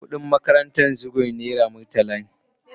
Kudin makarantan Zugwai naira murtala ne.